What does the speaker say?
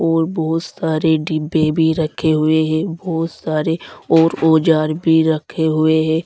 और बहुत सारे डिब्बे भी रखे हुए हैं बहुत सारे और औजार भी रखे हुए हैं।